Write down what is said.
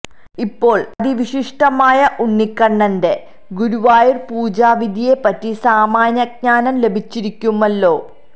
ഇപ്പോൾ അതിവിശിഷ്ടമായ ഉണ്ണിക്കണ്ണന്റ ഗുരുവായൂർ പൂജാവിധിയെ പറ്റി സാമാന്യ ജ്ഞാനം ലഭിച്ചിരിക്കുമല്ലോ